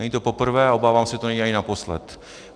Není to poprvé a obávám se, že to není ani naposled.